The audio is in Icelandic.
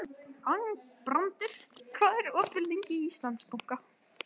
Þangbrandur, hvað er opið lengi í Íslandsbanka?